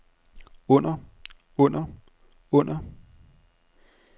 under under under